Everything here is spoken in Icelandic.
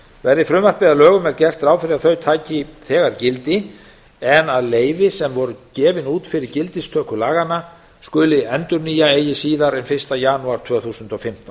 verði frumvarpið að lögum er gert ráð fyrir að þau taki þegar gildi en að leyfi sem voru gefin út fyrir gildistöku laganna skuli endurnýja eigi síðar en fyrir fyrsta janúar tvö þúsund og fimmtán